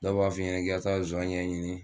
Dɔw b'a f'i ɲɛnɛ k'i ka taba zɔɲɛ ɲini